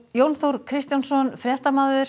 Jón Þór Kristjánsson fréttamaður